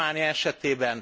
Románia esetében.